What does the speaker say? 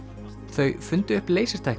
þau fundu upp